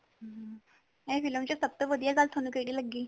ਹੁਮ ਇਹ film ਵਿੱਚ ਸਬ ਤੋਂ ਵਧੀਆ ਗੱਲ ਤੁਹਾਨੂੰ ਕੇਡੀ ਲੱਗੀ